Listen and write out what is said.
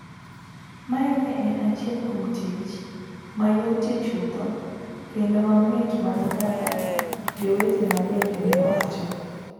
Mae ne en achiel kuom tich mayotie chuth kendo mamit mana kaka jowetena bende ne wacho.